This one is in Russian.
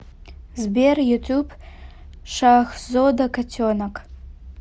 сбер ютуб шахзода котенок